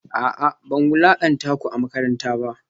A'a ban wulakanta ku a makaranta ba